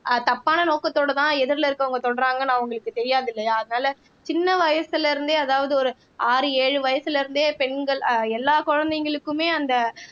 ஆஹ் தப்பான நோக்கத்தோட தான் எதிர்ல இருக்குறவங்க தொடுறாங்கன்னு அவங்களுக்கு தெரியாது இல்லையா அதனால சின்ன வயசுல இருந்தே அதாவது ஒரு ஆறு ஏழு வயசுல இருந்தே பெண்கள் ஆஹ் எல்லா குழந்தைங்களுக்குமே அந்த